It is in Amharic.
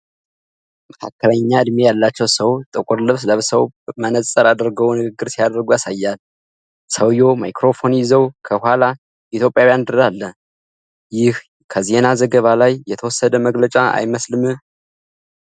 መካከለኛ እድሜ ያላቸው ሰው ጥቁር ልብስ ለብሰው መነጽር አድርገው ንግግር ሲያደርጉ ያሳያል። ሰውዬው ማይክሮፎን ይዘው ከኋላ የኢትዮጵያ ባንዲራ አለ፤ ይህ ከዜና ዘገባ ላይ የተወሰደ መግለጫ አይመስልም?